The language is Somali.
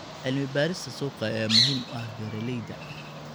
Cilmi-baarista suuqa ayaa muhiim u ah beeralayda.